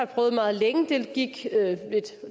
prøvet meget længe og